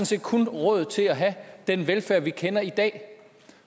set kun råd til at have den velfærd vi kender i dag